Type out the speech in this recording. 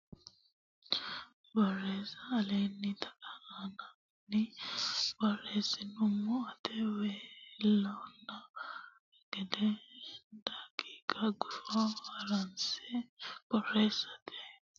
Borreessa Aleenni taqa aana ani borreessummo ata xawe leellanno ne gede daqiiqa gufo haranse borreessate gara mitteenni Isayyo Borreessa ikkine wo naallo.